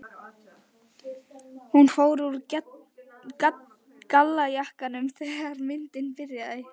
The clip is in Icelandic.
Hún fór úr gallajakkanum þegar myndin byrjaði.